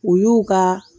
U y'u ka